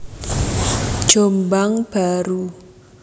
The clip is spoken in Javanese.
Jombang Baru